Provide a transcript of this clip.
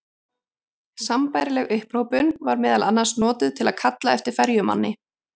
Sambærileg upphrópun var meðal annars notuð til að kalla eftir ferjumanni.